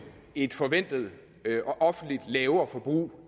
et forventet offentligt lavere forbrug